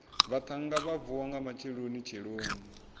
vhaṱhannga vha vuwa nga matshelonitsheloni